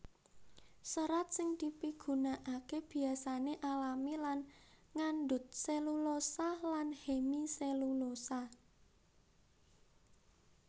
Serat sing dipigunakaké biasané alami lan ngandhut selulosa lan hemiselulosa